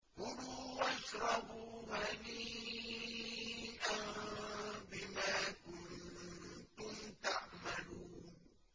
كُلُوا وَاشْرَبُوا هَنِيئًا بِمَا كُنتُمْ تَعْمَلُونَ